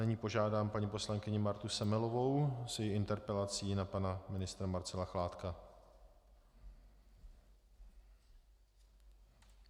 Nyní požádám paní poslankyni Martu Semelovou s její interpelací na pana ministra Marcela Chládka.